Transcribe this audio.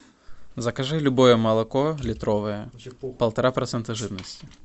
закажи любое молоко литровое полтора процента жирности